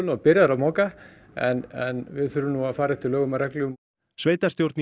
og byrjaður að moka en við þurfum að fara eftir lögum og reglum sveitarstjórn í